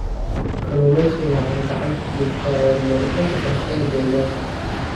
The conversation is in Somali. Kalluumaysigu waxa uu gacan ka geystaa horumarinta waxbarashada deegaanka.